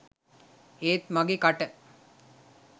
ඒත් මගෙ කට